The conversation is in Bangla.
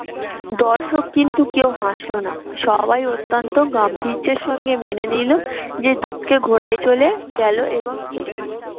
কিন্তু কেউ হাসলো না, সবাই অত্যান্ত গাম্ভীর্যের সঙ্গে মেনে নিল যে দূতকে ঘোড়ায় চলে গেলো এবং এলো।